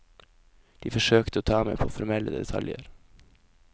De forsøkte å ta meg på formelle detaljer.